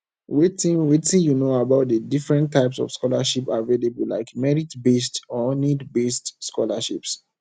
wetin wetin you know about di different types of scholarships available like meritbased or needbased scholarships